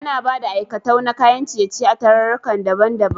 Ana Bada aikatau na kayan ciye ciye a tararruka daban daban